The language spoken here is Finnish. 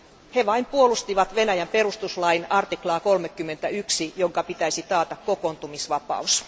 He vain puolustivat Venäjän perustuslain 31 artiklaa, jonka pitäisi taata kokoontumisvapaus.